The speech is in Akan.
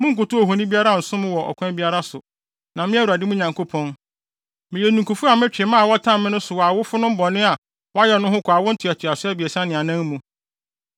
Monnkotow ohoni biara nsom no wɔ ɔkwan biara so, na me, Awurade, mo Nyankopɔn, meyɛ ninkufo a metwe mma a wɔtan me no aso wɔ awofonom bɔne a wɔyɛ no ho kɔ awo ntoatoaso abiɛsa ne anan mu,